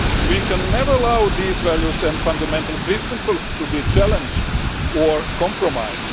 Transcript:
We can never allow these values and fundamental principles to be challenged or compromised.